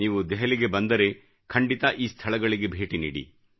ನೀವು ದೆಹಲಿಗೆ ಬಂದರೆ ಖಂಡಿತ ಈ ಸ್ಥಳಗಳಿಗೆ ಭೇಟಿ ನೀಡಿ